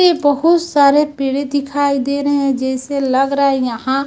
ये बहुत सारे पेड़े दिखाई दे रहे हैं जैसे लग रहा है यहां--